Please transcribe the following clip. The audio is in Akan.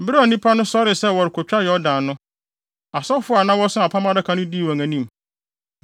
Bere a nnipa no sɔree sɛ wɔrekotwa Yordan no, asɔfo a na wɔso Apam Adaka no dii wɔn anim.